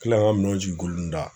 kila ka minɛnw jigin kulunda